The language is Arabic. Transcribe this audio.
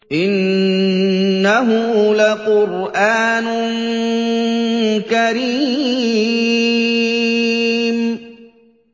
إِنَّهُ لَقُرْآنٌ كَرِيمٌ